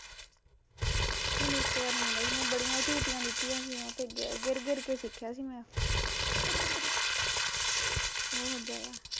ਮੈਨੂੰ ਇੱਕ ਵਾਰ ਮਿਲਿਆ ਸੀ ਮੈਂ ਬੜੀਂਆ ਝੂਟੀਆ ਲਿੱਤੀਆ ਸੀ ਉਹਤੇ, ਗਿਰ ਗਿਰ ਕੇ ਸਿੱਖਿਆ ਸੀ ਮੈਂ ਓਹ ਬਹੁਤ ਜਿਆਦਾ